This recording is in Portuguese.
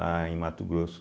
Lá em Mato Grosso,